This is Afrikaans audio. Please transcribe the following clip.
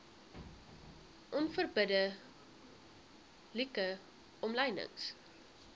onverbidde like omlynings